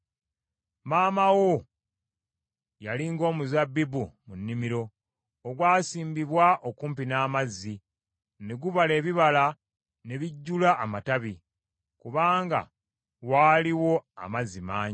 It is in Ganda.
“ ‘Maama wo yali ng’omuzabbibu mu nnimiro ogwasimbibwa okumpi n’amazzi; ne gubala ebibala ne bijjula amatabi, kubanga waaliwo amazzi mangi.